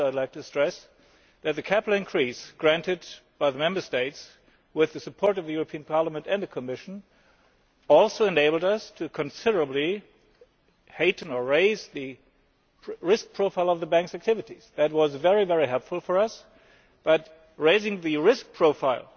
I would also like to stress that the capital increase granted by the Member States with the support of the Parliament and the Commission has also enabled us to considerably raise the risk profile of the Bank's activities. This was very helpful for us, but raising the risk profile